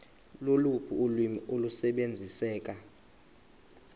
loluphi ulwimi olusebenziseka